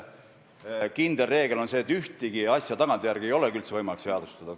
Kindel reegel on see, et ühtegi asja ei ole tagantjärele võimalik seadustada.